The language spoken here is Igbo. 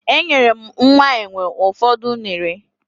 Enyere m nwa enwe ụfọdụ unere